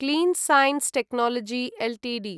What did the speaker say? clean science technology Ltd